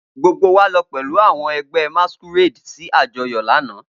Gbogbo wa lọ pẹlu awọn ẹgbẹ masquerade si ajọyọ lana.